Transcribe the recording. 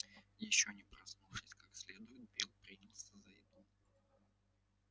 ещё не проснувшись как следует билл принялся за еду